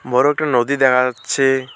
বড় একটা নদী দেখা যাচ্ছে।